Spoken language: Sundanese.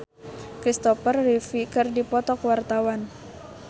Marshanda jeung Kristopher Reeve keur dipoto ku wartawan